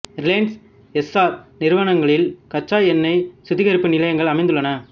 Reliance Essar நிறுவனங்களின் கச்சா எண்ணெய் சுத்திகரிப்பு நிலையங்கள் அமைந்துள்ளன